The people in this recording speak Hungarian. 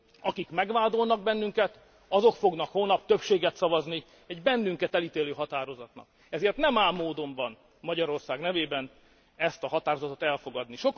Akik megvádolnak bennünket, azok fognak holnap többséget szavazni egy bennünket elítélő határozatnak, ezért nem áll módomban Magyarország nevében ezt a határozatot elfogadni.